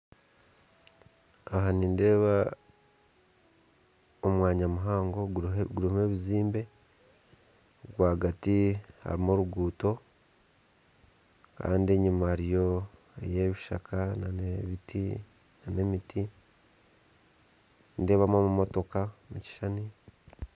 Aha nindeeba omwanya muhango gurimw'ebizimbe rwagati harimu oruguuto kandi enyima hariyo ebishaka n'emiti, nindeebamu amamotoka omukishushani